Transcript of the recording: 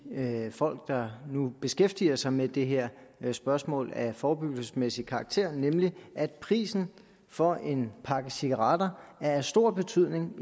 folk der nu beskæftiger sig med det her spørgsmål af forebyggelsesmæssig karakter nemlig at prisen for en pakke cigaretter er af stor betydning